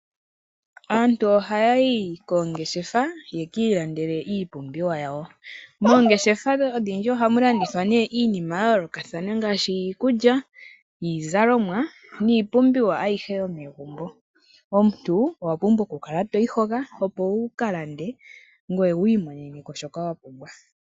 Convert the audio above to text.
Aantu ohaya yi koongeshefa ye ki ilandele iipumbiwa yawo. Oongeshefa odhindji ohamu landithwa nee iinima ya yoolokathana ngaashi iikulya, iizalomwa niipumbiwa ayihe yomegumbo. Omuntu owa pumbwa oku kala toyi hoka, opo wuka lande ngoye wu imoneneko shoka wa pumbwa.